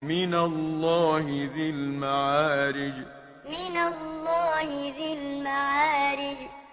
مِّنَ اللَّهِ ذِي الْمَعَارِجِ مِّنَ اللَّهِ ذِي الْمَعَارِجِ